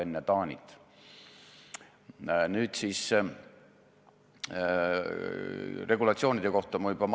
Suur tänu kõigile tänasel istungil osalejatele!